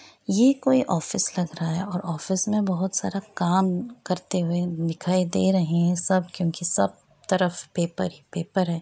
ये कोई ऑफिस लग रहा है और ऑफिस में बहोत सारा काम करते हुए दिखाई दे रहे हैं सब क्यूंकि सब तरफ पेपर ही पेपर है।